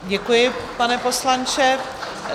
Děkuji, pane poslanče.